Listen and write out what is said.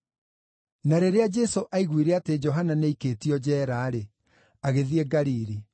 Na rĩrĩa Jesũ aiguire atĩ Johana nĩaikĩtio njeera-rĩ, agĩthiĩ Galili.